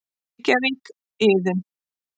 Reykjavík, Iðunn.